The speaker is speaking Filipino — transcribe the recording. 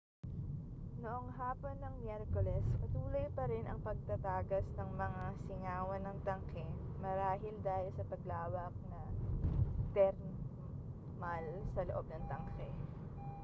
noong hapon ng miyerkules patuloy parin ang pagtatagas ng mga singawan ng tanke marahil dahil sa paglawak na termal sa loob ng tanke